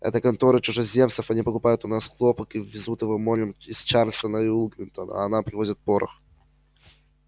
это конторы чужеземцев они покупают у нас хлопок и везут его морем из чарльстона и уилмингтона а нам привозят порох